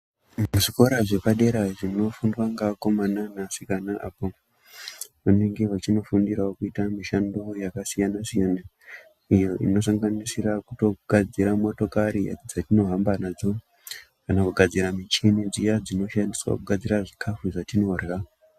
Zvikora zvepadera zvinofundwa ngeakomana neasikana apo vanenge vachinofundirawo kuita mishando yakasiyana siyana, iyo inosanganisira kutogadzira motokari dzatinohamba nadzo kana kugadzira muchini dziya dzinoshandiswa kugadzira zvikafu zvatinorya.